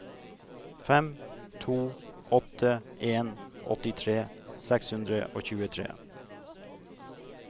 fem to åtte en åttitre seks hundre og tjuetre